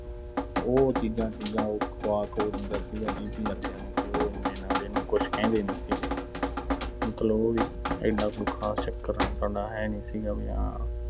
ਉਹ ਚੀਜ਼ਾਂ-ਚੂਜ਼ਾਂ ਉਹ ਖਵਾ-ਖਵੂ ਦਿੰਦਾ ਸੀਗਾ D. P. ਵਰਗਿਆਂ ਨੂੰ ਤੇ ਉਹ ਇੰਨੇ ਨਾਲ ਇਹਨੂੰ ਕੁਝ ਕਹਿੰਦੇ ਨੀਂ ਸੀਗੇ। ਮਤਲਬ ਉਹ ਵੀ ਐਨਾ ਕੋਈ ਖਾਸ ਚੱਕਰ ਹੈ ਨੀਂ ਸੀਗਾ ਵੀ ਹਾਂ